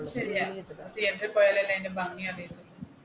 ശരിയാ തീയറ്ററിൽ പോയാൽ അല്ലെ അതിന്റെ ഭംഗി അറിയുള്ളു